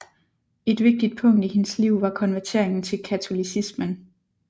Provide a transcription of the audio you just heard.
Et vigtigt punkt i hendes liv var konverteringen til katolicismen